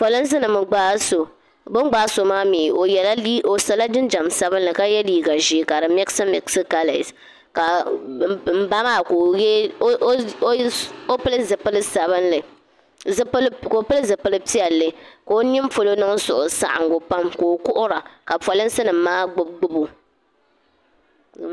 polinsi nim n gbaai so bi ni gbaai so maa mii o sola jinjɛm sabinli ka yɛ liiga ʒiɛ ka di mikisi mikisi kalɛs ka n ba maa pili zipili piɛlli ka o nini polo niŋ suhusaɣangu pam ka o kuhura ka polinsi nim maa gbubi gbubi o